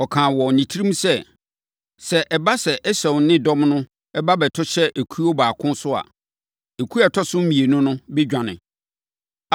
Ɔkaa wɔ ne tirim sɛ, “Sɛ ɛba sɛ, Esau ne ne dɔm no ba bɛto hyɛ ekuo baako so a, ekuo a ɛtɔ so mmienu no bɛdwane.”